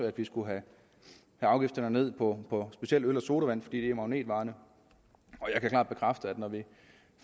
at vi skulle have afgifterne ned på specielt øl og sodavand fordi det er magnetvarerne og jeg kan klart bekræfte at når vi